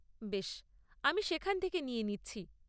বেশ, আমি সেখান থেকে নিয়ে নিচ্ছি।